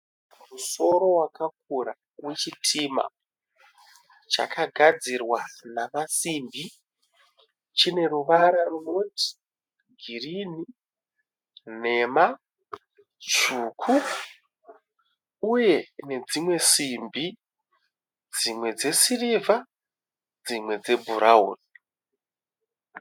Musoro wakakura wechitima chakagadzirwa namasimbi. Chine ruvara runoti girini, nhema, tsvuku uye nedzimwe simbi, dzimwe dzesirivha, dzimwe dzebhurawuni.